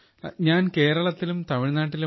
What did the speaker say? how many states you have visited